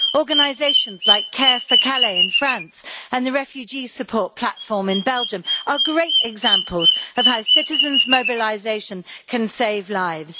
Organisations like Care4Calais in France and the refugee support platform in Belgium are great examples of how citizens' mobilisation can save lives.